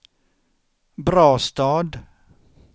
Brastad